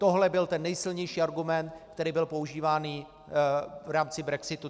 Tohle byl ten nejsilnější argument, který byl používán v rámci brexitu.